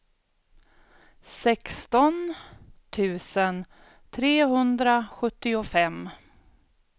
sexton tusen trehundrasjuttiofem